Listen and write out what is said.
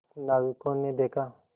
नाविकों ने देखा